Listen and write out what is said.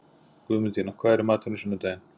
Guðmundína, hvað er í matinn á sunnudaginn?